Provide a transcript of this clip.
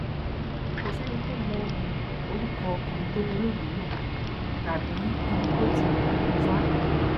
kò sẹni tó mọ um orúkọ ọkùnrin tó dolóògbé náà tàbí ibi tó ti um wá